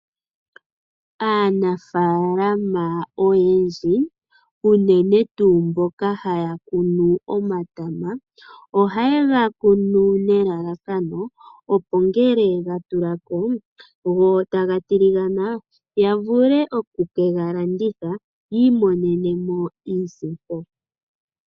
Aanafaalama oyendji unene tuu mboka haya kunu omatama, ohaye ga kunu nelalakano opo ngele gatulako go taga tiligana ya vule oku ke ga landitha yiimonenemo iisimpo.